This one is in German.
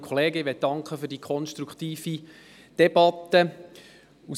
Ich möchte mich für die konstruktive Debatte bedanken.